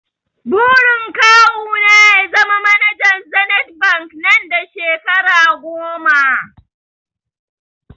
Burin kawu na ya zama manajan zenith bank nan da shekara goma